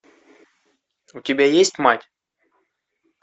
у тебя есть мать